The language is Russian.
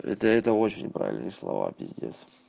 это это очень правильные слова пиздец